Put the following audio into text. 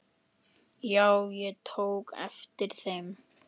Já, ég tók eftir þeim.